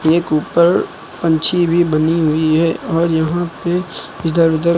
एक ऊपर पंछी भी बनी हुई है और यहां पे इधर उधर--